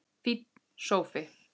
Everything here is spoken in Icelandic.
Fínn sófi!